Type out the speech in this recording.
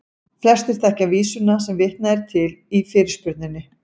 Flestir þekkja vísuna sem vitnað er til í fyrirspurninni.